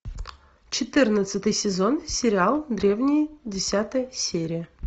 четырнадцатый сезон сериал древние десятая серия